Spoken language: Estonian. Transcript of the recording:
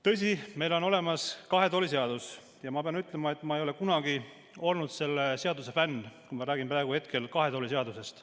Tõsi, meil on olemas kahe tooli seadus ja ma pean ütlema, et ma ei ole kunagi olnud selle seaduse fänn, kui ma räägin praegu kahe tooli seadusest.